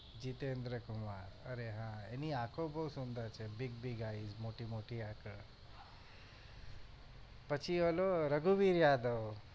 જીતેદ્ર કુમાર અરે હા એની આખો બહુ સુંદર છે big big eyes મોટી મોટી આંખો પછી ઓલું રઘુવીર યાદવ